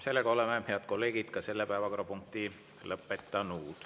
Head kolleegid, oleme ka selle päevakorrapunkti lõpetanud.